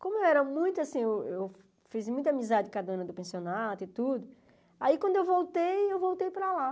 Como eu era muito, assim, eu eu fiz muita amizade com a dona do pensionato e tudo, aí quando eu voltei, eu voltei para lá.